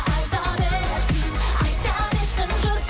айта берсін айта берсін жұрт